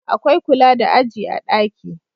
Akwai kula da aji a daki